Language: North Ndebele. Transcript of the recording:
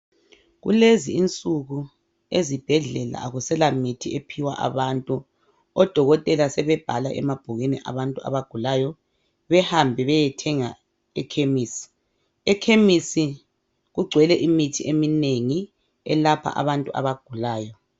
Kulezi insuku ezibhedlela akusela mithi ephiwa abantu. Odokotela sebebhala emabhukwini abantu abagulayo behambe bayethenga ekhemisi. Ekhemisi kungcwele imithi eminengi elapha abantu abagulayo.